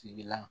Tigila